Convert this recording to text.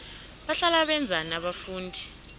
bahlala benzani abafundi